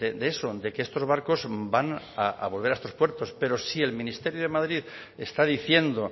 de eso de que estos barcos van a volver a estos puertos pero si el ministerio de madrid está diciendo